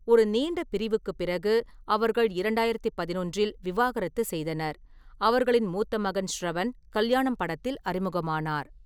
ஒரு நீண்ட பிரிவுக்குப் பிறகு, அவர்கள் இரண்டாயிரத்தி பதினொன்றில் விவாகரத்து செய்தனர். அவர்களின் மூத்த மகன் ஷ்ரவன் கல்யாணம் படத்தில் அறிமுகமானார்.